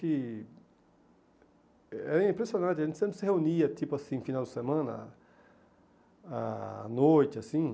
E era impressionante, a gente sempre se reunia, tipo assim, no final de semana, à noite, assim.